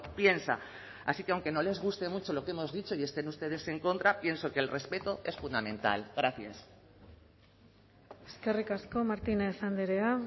piensa así que aunque no les guste mucho lo que hemos dicho y estén ustedes en contra pienso que el respeto es fundamental gracias eskerrik asko martínez andrea